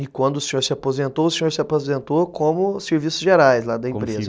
E quando o senhor se aposentou, o senhor se aposentou como serviços gerais lá da empresa, né?